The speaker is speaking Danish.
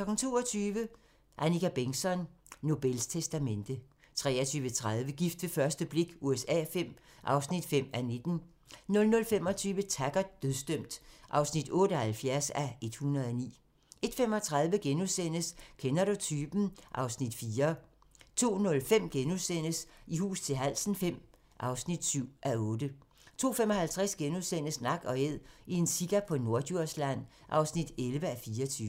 22:00: Annika Bengtzon: Nobels testamente 23:30: Gift ved første blik USA V (5:19) 00:25: Taggart: Dødsdømt (78:109) 01:35: Kender du typen? (Afs. 4)* 02:05: I hus til halsen V (7:8)* 02:55: Nak & Æd – en sika på Norddjursland (11:24)*